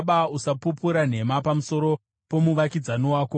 Usapupura nhema pamusoro pomuvakidzani wako.